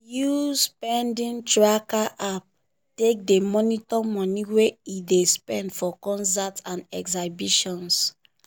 e use spending tracker app take dey monitor money wey e dey spend for concerts and exhibitions.